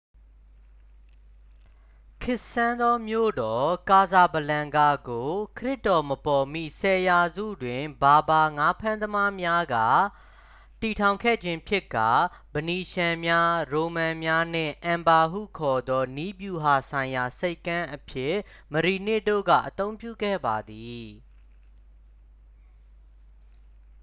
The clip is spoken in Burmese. ခေတ်ဆန်သောမြို့တော် ကာဆာဘလန်ကာ ကို ခရစ်တော်မပေါ်မီ 10 ရာစု တွင် ဘာဘာ ငါးဖမ်းသမားများက တည်ထောင်ခဲ့ခြင်းဖြစ်ကာ ဖနီးရှန်းများ ရိုမန်များ နှင့် အန်ဖာ ဟုခေါ်သော နည်းဗျူဟာဆိုင်ရာဆိပ်ကမ်းအဖြစ် မရီနစ် တို့က အသုံးပြုခဲ့ပါသည်